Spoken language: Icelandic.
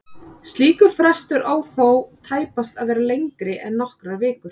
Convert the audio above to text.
Slíkur frestur á þó tæpast að vera lengri en nokkrar vikur.